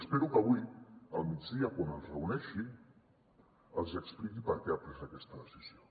espero que avui al migdia quan els reuneixi els expliqui per què ha pres aquesta decisió